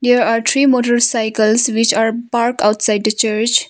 Here are three motor cycles which are park outside the church.